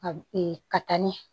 A ka taa ɲɛ